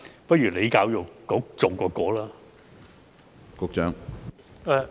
不如由教育局重新編寫吧。